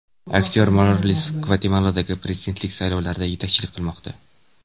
Aktyor Morales Gvatemaladagi prezidentlik saylovlarida yetakchilik qilmoqda.